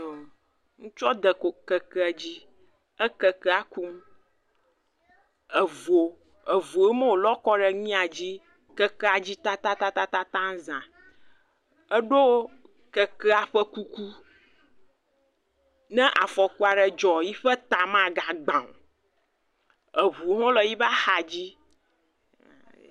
Ŋutsua de kekea dzi ekeke kum, evo, evuwoe ma wolɔ kɔ ɖe kekea dzi, keke dzi tatatataza edo kekea ƒe kuku, ne afɔku dzɔla, eƒe ta magagba o.